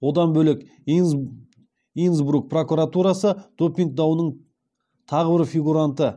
одан бөлек инсбрук прокуратурасы допинг дауының тағы бір фигуранты